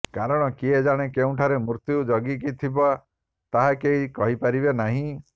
କାରଣ କିଏ ଜାଣେ କେଉଁଠାରେ ମୃତ୍ୟୁ ଜଗିକି ଥିବା ତାହା କେହି କହିପାରିବେ ନାହିଁ